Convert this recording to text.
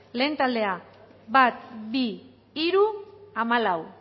lehen taldea bat bi hiru hamalau